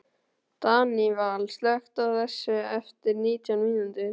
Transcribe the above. Daníval, slökktu á þessu eftir nítján mínútur.